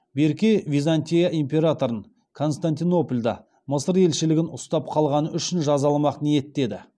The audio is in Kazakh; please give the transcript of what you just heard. берке византия императорын константинопольда мысыр елшілігін ұстап қалғаны үшін жазаламақ ниетте еді